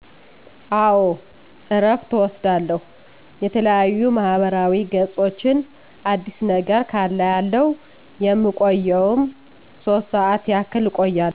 አዎ እረፍት እወስዳለሁ የተለያዩ ማህበራዊ ገፆችን አዲስ ነገር ካለ አያለሁ የምቆየዉም ሶስት ሰዓት ያክልእቆያለሁ